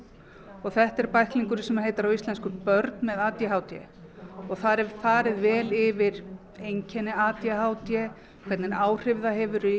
og þetta er bæklingur sem heitir á íslensku börn með a d h d og þar er farið vel yfir einkenni a d h d hvernig áhrif það hefur í